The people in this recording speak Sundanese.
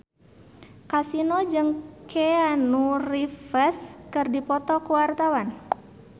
Kasino jeung Keanu Reeves keur dipoto ku wartawan